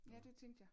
Ja det tænkte jeg